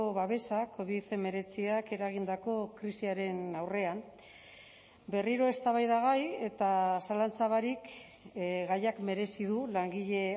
babesa covid hemeretziak eragindako krisiaren aurrean berriro eztabaidagai eta zalantza barik gaiak merezi du langile